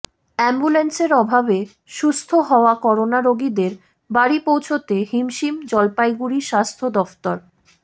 অ্যাম্বুল্যান্সের অভাবে সুস্থ হওয়া করোনা রোগীদের বাড়ি পৌঁছতে হিমশিম জলপাইগুড়ি স্বাস্থ্য দফতর